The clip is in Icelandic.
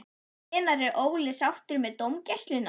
Hvenær er Óli sáttur með dómgæsluna?